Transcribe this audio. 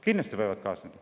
Kindlasti võivad kaasneda.